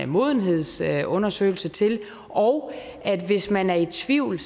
modenhedsundersøgelse til og hvis man er i tvivl